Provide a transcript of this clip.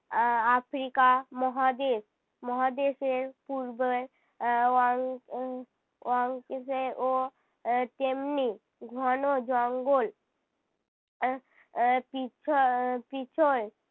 আহ Africa মহাদেশ, মহাদেশের পূর্বে আহ ও আহ তেমনি ঘন জঙ্গল। আহ আহ পিচ্ছ~ আহ পিছল